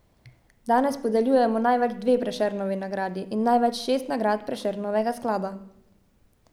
Danes podeljujemo največ dve Prešernovi nagradi in največ šest nagrad Prešernovega sklada.